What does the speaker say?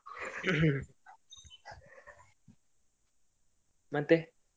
ಮತ್ತೆ?